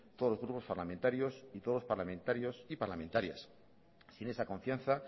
todos los grupos parlamentarios y todos los parlamentarios y parlamentarias sin esa confianza